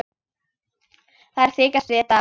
Þær þykjast vita það.